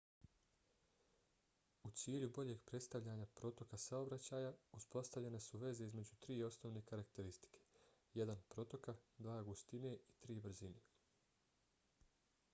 u cilju boljeg predstavljanja protoka saobraćaja uspostavljene su veze između tri osnovne karakteristike: 1 protoka 2 gustine i 3 brzine